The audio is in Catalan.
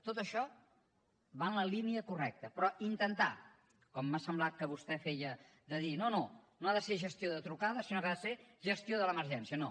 tot això va en la línia correcta però intentar com m’ha semblat que vostè feia de dir no no no ha de ser gestió de trucades sinó que ha de ser gestió de l’emergència no